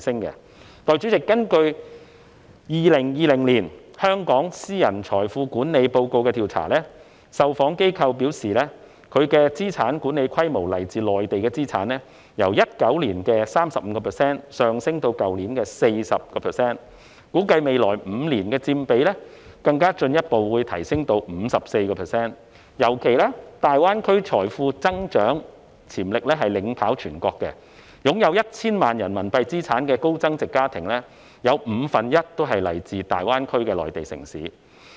代理主席，根據《2020年香港私人財富管理報告》的調查，受訪機構表示它們的資產管理規模中，來自內地的資產由2019年的 35% 上升至去年 40%， 估計未來5年，有關佔比會更進一步提升至 54%， 尤其是考慮到大灣區財富增長潛力領跑全國，擁有 1,000 萬元人民幣資產的高增值家庭中，有五分之一是來自大灣區的內地城市。